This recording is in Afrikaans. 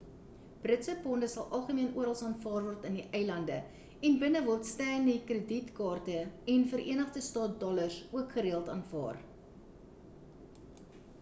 britse ponde sal algemeen orals aanvaar word in die eilande en binne word stanley krediet kaarte en verenigde staat dollars ook gereeld aanvaar